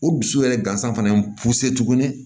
O dusu yɛrɛ gansan fana ye tuguni